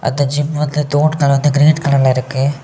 அந்த ஜிம் வந்து தூண்ங்க வந்து கிரீன் கலர்ல இருக்கு.